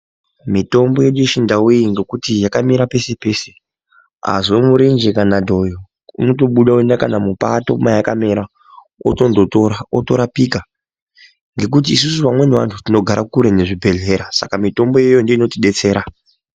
Mitombo yedu yechindau iyi ngekuti yakamera peshe peshe azwe murenje kana dhoyo unotobuda woende kana mupato mayakamera otondotora otorapika ngekuti isusu vantu tinogare kure nezvibhehleya saka mitombo iyoyo ndiyo inotibetsera.